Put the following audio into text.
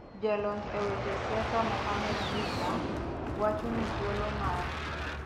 Jalony e weche siasa Mohamed Issa, wacho ni thuolo mar